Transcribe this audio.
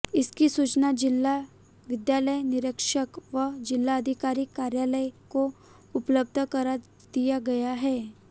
इसकी सूचना जिला विद्यालय निरीक्षक व जिलाधिकारी कार्यालय को उपलब्ध करा दिया गया है